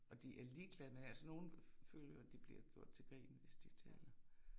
Og de er ligeglade med, altså nogen føler de bliver gjort til grin, hvis de taler